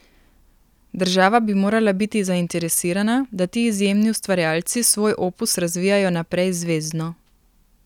Država bi morala biti zainteresirana, da ti izjemni ustvarjalci svoj opus razvijajo naprej zvezno.